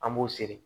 An b'u seri